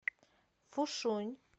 фушунь